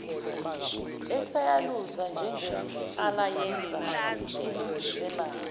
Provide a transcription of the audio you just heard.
eseyaluza njengenhlalayenza elungisela